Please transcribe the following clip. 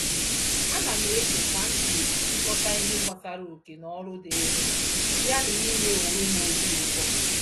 Ánám eche kam g'esi chikoọta ihe gbasara oké-n'ọlụ dịrịm, ya na ime onwem obi ụtọ